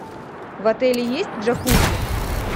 в отеле есть джакузи